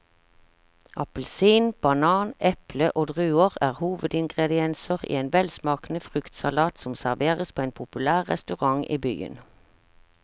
Appelsin, banan, eple og druer er hovedingredienser i en velsmakende fruktsalat som serveres på en populær restaurant i byen.